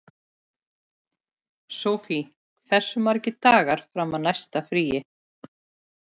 Sofie, hversu margir dagar fram að næsta fríi?